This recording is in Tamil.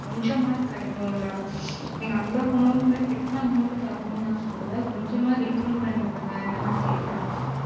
கொஞ்சம் அச்சும் கிடைக்கும் ல அவ்ளோ Amount கேட்டுன Amount நா தரணும் சொல்லல கொஞ்சம் Refund பண்ணிவிடுங்க